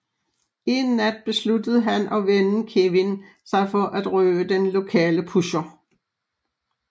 En nat beslutter han og vennen Kevin sig for at røve den lokale pusher